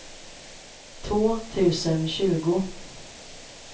två tusen tjugo